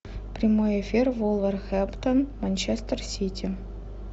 прямой эфир вулверхэмптон манчестер сити